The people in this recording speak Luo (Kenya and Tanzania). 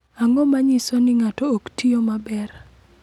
Ang’o ma nyiso ni ng’ato ok tiyo maber?